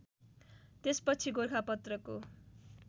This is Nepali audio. त्यसपछि गोरखापत्रको